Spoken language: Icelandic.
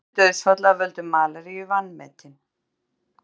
Fjöldi dauðsfalla af völdum malaríu vanmetin